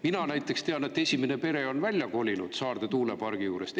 Mina näiteks tean, et esimene pere on välja kolinud Saarde tuulepargi juurest.